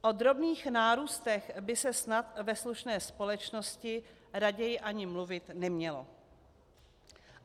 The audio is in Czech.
O drobných nárůstech by se snad ve slušné společnosti raději ani mluvit nemělo.